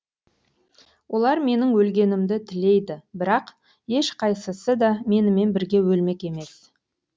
олар менің өлгенімді тілейді бірақ ешқайсысы да менімен бірге өлмек емес